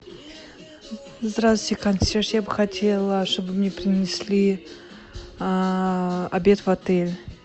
здравствуйте консьерж я бы хотела чтобы мне принесли обед в отель